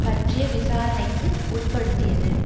பற்றிய விசாரணைக்கு உட்படுத்தியது